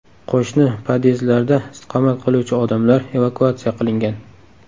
Qo‘shni podyezdlarda istiqomat qiluvchi odamlar evakuatsiya qilingan.